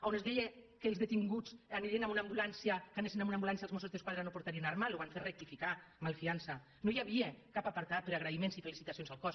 on es deia que quan els detinguts anessin en una ambulància els mossos d’esquadra no portarien arma ho van fer recti·ficar malfiança no hi havia cap apartat per agraïments i felicitacions al cos